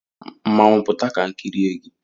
Mmanwụ pụta ka m kirie gi